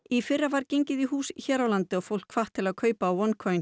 í fyrra var gengið í hús hér á landi og fólk hvatt til að kaupa